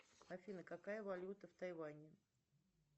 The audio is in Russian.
афина какая валюта в тайване